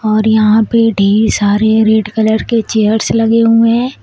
और यहां पे ढेर सारे रेड कलर के चेयर्स लगे हुए हैं।